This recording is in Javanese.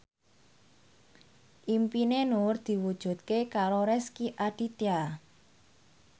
impine Nur diwujudke karo Rezky Aditya